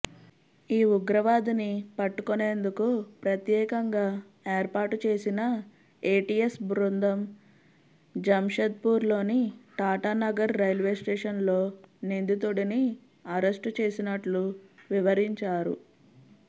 ఈ ఉగ్రవాదిని పట్టుకొనేందుకు ప్రత్యేకంగా ఏర్పాటు చేసిన ఏటీఎస్ బృందం జంషెడ్పూర్లోని టాటానగర్ రైల్వేస్టేషన్లో నిందితుడిని అరెస్టు చేసినట్లు వివరించారు